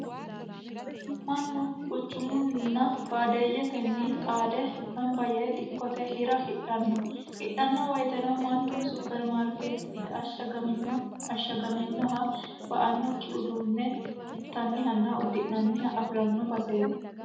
mannu quchumunninna baadiyyetenni xaade gamba yee dikkote hira hidhanno hidhanno woyiteno mannu supermaarkeettete ashshagaminoha ba"annokki uduunne hintannihanna uddi'nanniha afi'ranno baseeti